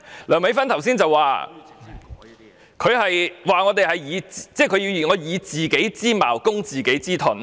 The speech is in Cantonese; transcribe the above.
梁美芬議員剛才說，我們以自己之矛攻自己之盾。